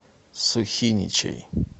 сухиничей